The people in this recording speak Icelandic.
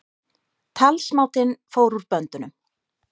Talsmátinn fór úr böndunum